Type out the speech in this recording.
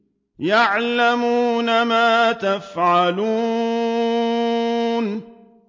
يَعْلَمُونَ مَا تَفْعَلُونَ